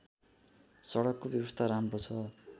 सडकको व्यवस्था राम्रो छ